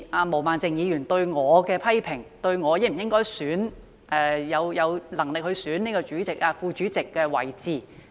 毛孟靜議員曾對我作出批評，質疑我有否能力及應否競選事務委員會副主席。